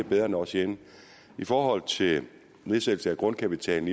bedre end os herinde i forhold til nedsættelse af grundkapitalen